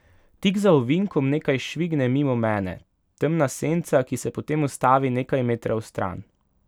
Tik za ovinkom nekaj švigne mimo mene, temna senca, ki se potem ustavi nekaj metrov stran.